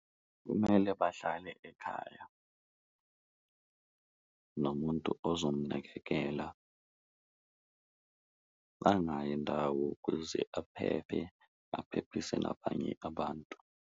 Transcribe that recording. Kumele bahlale ekhaya nomuntu ozomnakekela angayi ndawo kuze aphephe, aphephise nabanye abantu.